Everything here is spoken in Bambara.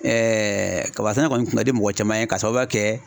kaba sɛnɛ kɔni tuma i tɛ mɔgɔ caman ye ka sababu kɛ